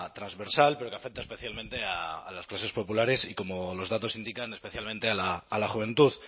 transversal pero que afecta especialmente a las clases populares y como los datos indican especialmente a la juventud